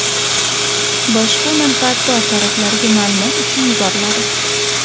boshqa manfaatdor taraflarga maʼlumot uchun yuboriladi.